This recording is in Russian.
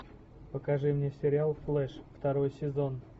покажи мне сериал флэш второй сезон